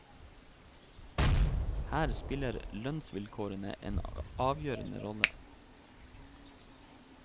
Her spiller lønnsvilkårene en avgjørende rolle.